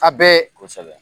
A bɛɛ; Kosɛbɛ.